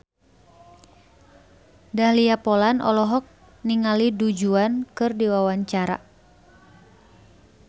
Dahlia Poland olohok ningali Du Juan keur diwawancara